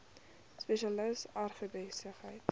spesialis agribesigheid steun